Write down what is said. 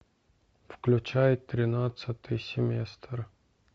включай тринадцатый семестр